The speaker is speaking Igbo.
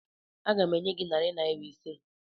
Aga m enye gị narị naira ise